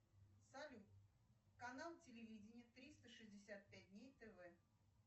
салют канал телевидения триста шестьдесят пять дней тв